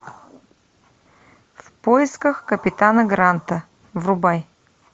в поисках капитана гранта врубай